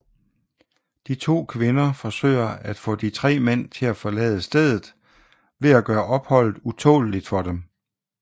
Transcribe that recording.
De to kvinder forsøger at få de tre mænd til at forlade stedet ved at gøre opholdet utåleligt for dem